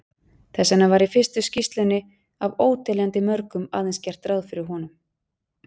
Þess vegna var í fyrstu skýrslunni af óteljandi mörgum aðeins gert ráð fyrir honum.